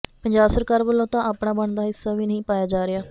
ਪੰਜਾਬ ਸਰਕਾਰ ਵੱਲੋਂ ਤਾਂ ਆਪਣਾ ਬਣਦਾ ਹਿੱਸਾ ਵੀ ਨਹੀਂ ਪਾਇਆ ਜਾ ਰਿਹਾ